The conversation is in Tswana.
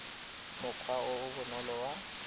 mokgwa o o bonolo wa